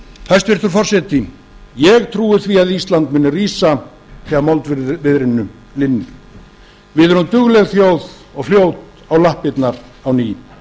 hæstvirtur forseti ég trúi því að ísland muni rísa þegar moldviðrinu linnir við erum dugleg þjóð og fljót á lappirnar á ný